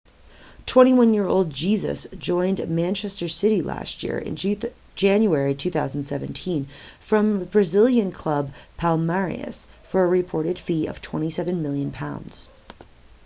21-year-old jesus joined manchester city last year in january 2017 from brazilian club palmeiras for a reported fee of £27 million